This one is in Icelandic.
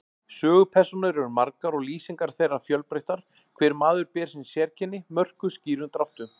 Sögupersónur eru margar og lýsingar þeirra fjölbreyttar, hver maður ber sín sérkenni, mörkuð skýrum dráttum.